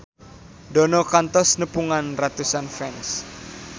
Dono kantos nepungan ratusan fans